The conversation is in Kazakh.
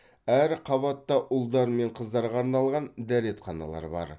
әр қабатта ұлдар мен қыздарға арналған дәретханалар бар